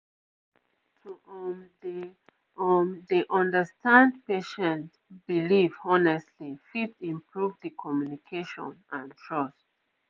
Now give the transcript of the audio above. um to um dey um dey understand patient belief honestly fit improve d communication and trust